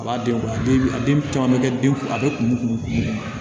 A b'a denw kun a den a den caman bɛ kɛ den kun a bɛ kun